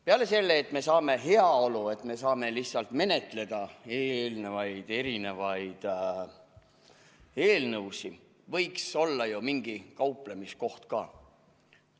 Peale selle, et me saame lihtsalt menetleda erinevaid eelnõusid, võiks olla ju mingi kauplemiskoht ka.